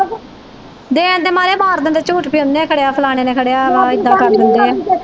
ਮਾਰ ਦਿੰਦੇ ਝੂਠ ਕੇ ਉਹਨੇ ਖੜਿਆ ਫਲਾਣੇ ਨੇ ਖੜਿਆ ਵਾ ਏਦਾਂ